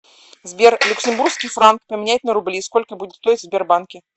сбер люксембургский франк поменять на рубли сколько будет стоить в сбербанке